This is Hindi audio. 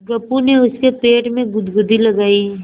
गप्पू ने उसके पेट में गुदगुदी लगायी